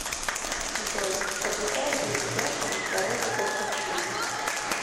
джой соблюдает ли ведяхин здоровый образ жизни